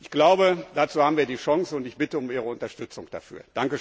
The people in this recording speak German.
Ich glaube, dazu haben wir die Chance, und ich bitte um Ihre Unterstützung dafür.